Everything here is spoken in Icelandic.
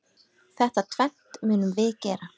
Þetta tvennt munum við gera.